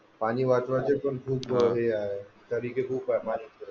पाणी वाचवायचे पण खूप हे आहे तरीके खूप आहेत